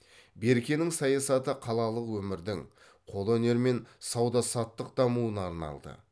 беркенің саясаты қалалық өмірдің қолөнер мен сауда саттық дамуына арналды